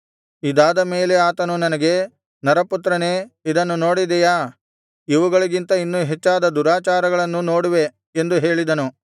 ಇದಾದ ಮೇಲೆ ಆತನು ನನಗೆ ನರಪುತ್ರನೇ ಇದನ್ನು ನೋಡಿದೆಯಾ ಇವುಗಳಿಗಿಂತ ಇನ್ನೂ ಹೆಚ್ಚಾದ ದುರಾಚಾರಗಳನ್ನು ನೋಡುವೆ ಎಂದು ಹೇಳಿದನು